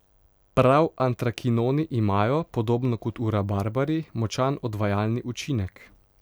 Prav antrakinoni imajo, podobno kot v rabarbari, močan odvajalni učinek.